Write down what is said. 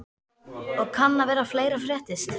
Og kann vera að fleira fréttist.